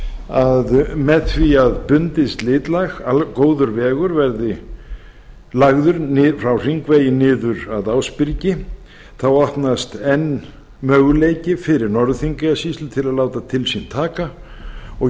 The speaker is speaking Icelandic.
að með því að góður vegur verði lagður frá hringvegi niður að ásbyrgi þá opnast enn möguleiki fyrir norður þingeyjarsýslu til að láta til sín taka og